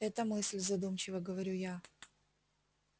это мысль задумчиво говорю я